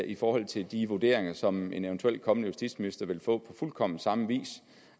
i forhold til de vurderinger som en eventuelt kommende justitsminister vil få på fuldkommen samme vis